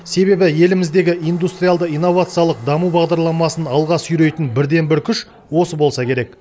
себебі еліміздегі индустриалды инновациялық даму бағдарламасын алға сүйрейтін бірден бір күш осы болса керек